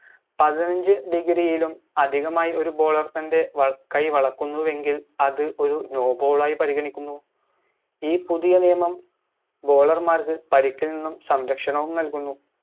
പതിനഞ്ച് degree ലും അധികമായി ഒരു bowler തൻറെ വള കൈ വളക്കുന്നുവെങ്കിൽ അത് ഒര് no ball ആയി പരിഗണിക്കുന്നു ഈ പുതിയ നിയമം bowler മാർക്ക് പരിക്കിൽ നിന്നും സംരക്ഷണവും നൽകുന്നു